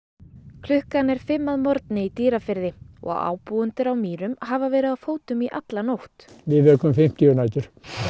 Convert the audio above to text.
klukkan er fimm að morgni í Dýrafirði og ábúendur á Mýrum hafa verið á fótum í alla nótt við vökum fimmtíu nætur